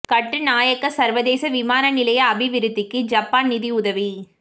கட்டுநாயக்க சர்வதேச விமான நிலைய அபிவிருத்திக்கு ஜப்பான் நிதி உதவி